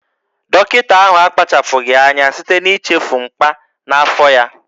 Dọkịta ahụ akpachapụghị anya site n'ichefu mkpà n'afọ ya